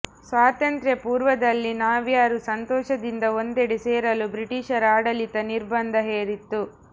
ಸ್ವಾತಂತ್ರ್ಯ ಪೂರ್ವದಲ್ಲಿ ನಾವ್ಯಾರೂ ಸಂತೋಷದಿಂದ ಒಂದೆಡೆ ಸೇರಲು ಬ್ರಿಟೀಷರ ಆಡಳಿತ ನಿರ್ಬಂಧ ಹೇರಿತ್ತು